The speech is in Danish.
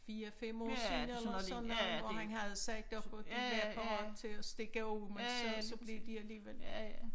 4 5 år siden eller sådan noget hvor han havde sagt op de var parat til at stikke af men så blev de alligevel